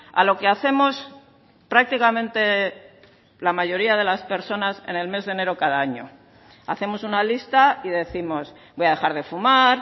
a lo que hacemos prácticamente la mayoría de las personas en el mes de enero cada año hacemos una lista y décimos voy a dejar de fumar